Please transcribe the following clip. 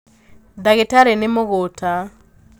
ndagītarī nī mūgūta.